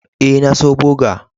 E, na so boga.